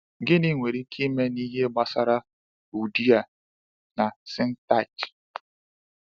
Gịnị nwere ike ime n’ihe gbasara Euodia na Syntyche?